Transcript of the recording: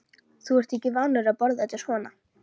Þú ert ekki vanur að borða þetta svona